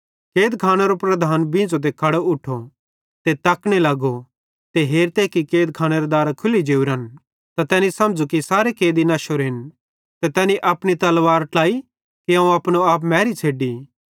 कैदखानेरो प्रधान बींझ़ो ते खड़ो उठो ते तकने लगो ते हेरते कि कैदखानेरां दारां खुल्ली जोरेन त तैनी समझ़ू कि सारे कैदी नश्शोरेन ते तैनी अपनी तलवार खिच्ची कि अवं अपनो आप मैरी छ़ेड्डी